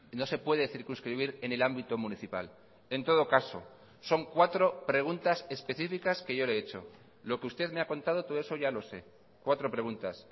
no se puede circunscribir en el ámbito municipal en todo caso son cuatro preguntas específicas que yo le he hecho lo que usted me ha contado todo eso ya lo sé cuatro preguntas